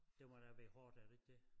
Det må da være hårdt er det ikke det